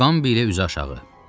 Uqambi ilə üzüaşağı.